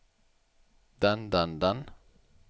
den den den